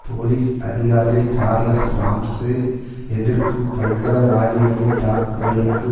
police அதிகாரி Charles Ramsay எதிர்ப்பு பயங்கரவாதிகளின் தாக்குதலுக்கு